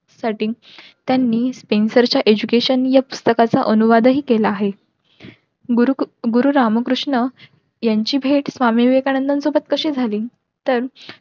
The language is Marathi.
साठी त्यांनी च्या education या पुस्तकाचा अनुवाद हि केला आहे.